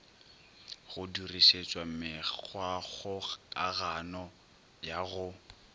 go dirišetšwa mekgwakgokagano ya go